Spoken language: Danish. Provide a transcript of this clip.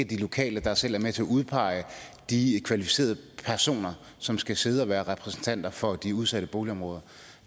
de lokale der selv er med til at udpege de kvalificerede personer som skal sidde og være repræsentanter for de udsatte boligområder